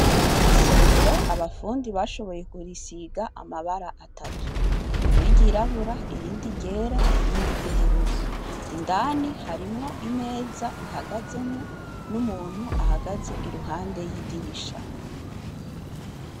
Isomero abafundi bashoboye kurisiga amabara atatu rimwe ry’irabura, irindi ryera irindi ry’ubururu, indani harimwo imeza ihagazemwo n’umuntu ahagaze iruhande y’idirisha.